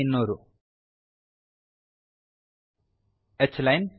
h line